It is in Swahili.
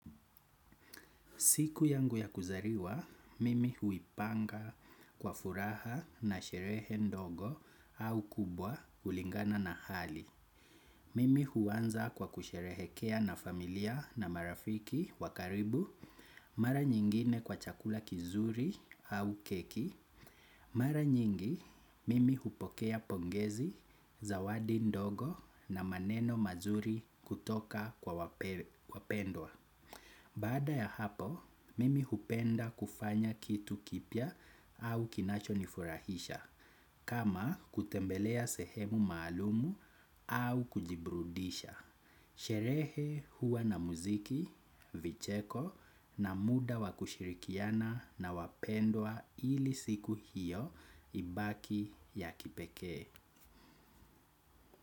Siku yangu ya kuzaliwa, mimi huipanga kwa furaha na sherehe ndogo au kubwa kulingana na hali. Mimi huanza kwa kusherehekea na familia na marafiki wa karibu, mara nyingine kwa chakula kizuri au keki. Mara nyingi, mimi hupokea pongezi, zawadi ndogo na maneno mazuri kutoka kwa wapendwa. Baada ya hapo, mimi hupenda kufanya kitu kipya au kinacho nifurahisha kama kutembelea sehemu maalumu au kujiburudisha. Sherehe huwa na muziki, vicheko na muda wa kushirikiana na wapendwa ili siku hiyo ibaki ya kipekee.